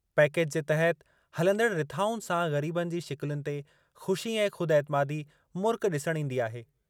Package जे तहति हलंदड़ रिथाउनि सां ग़रीबनि जी शिकिलुनि ते ख़ुशी ऐं ख़ुदि एतिमादी मुर्क ॾिसणु ईंदी आहे।